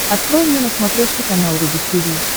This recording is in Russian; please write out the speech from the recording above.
открой мне на смотрешке канал рубль ти ви